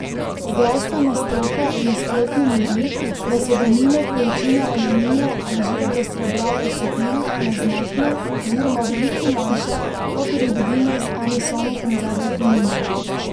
Zdravstvena stroka nasprotno miri, da so denimo količine aluminija ali živega srebra v cepivih neznatne oziroma veliko manjše, kakor jih dobimo z eno samo konzervo tunine.